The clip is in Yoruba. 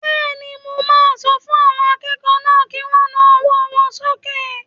Bẹ́ẹ̀ni, mo máa sọ fún àwọn akẹ́kọ̀ọ́ náà kí wọ́n na ọwọ́ wọn sókè